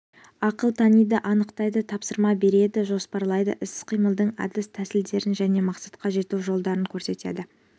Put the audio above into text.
ақыл таниды анықтайды тапсырма береді жоспарлайды іс-қимылдың әдіс тәсілдерін және мақсатқа жету жолдарын көрсетеді